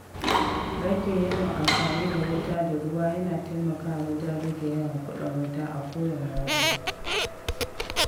Rage yawan amfani da wuta da ruwa yana taimakawa wajen rage yawan kuɗin wuta a kowane wata.